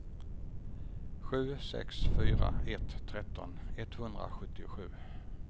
sju sex fyra ett tretton etthundrasjuttiosju